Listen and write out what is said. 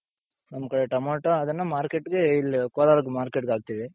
ನಮ್ ಕಡೆ ಟೊಮೋಟು ಅದನ್ನ market ಗೆ ಇಲ್ಲಿ ಕೋಲಾರ್ market ಗೆ ಹಾಕ್ತಿವಿ.